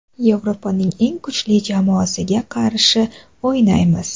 Yevropaning eng kuchli jamoasiga qarshi o‘ynaymiz.